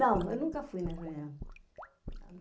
Não, eu nunca fui na reunião.